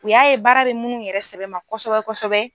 U y'a ye baara bɛ munnu yɛrɛ sɛbɛ ma kosɛbɛ kosɛbɛ.